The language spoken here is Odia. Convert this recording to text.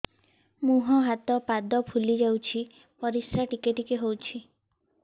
ମୁହଁ ହାତ ପାଦ ଫୁଲି ଯାଉଛି ପରିସ୍ରା ଟିକେ ଟିକେ ହଉଛି